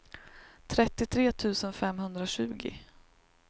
trettiotre tusen femhundratjugo